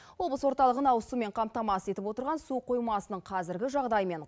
облыс орталығын ауыз сумен қамтамасыз етіп отырған су қоймасының қазіргі жағдайымен